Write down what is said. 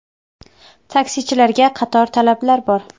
Taksichilarga qator talablar bor.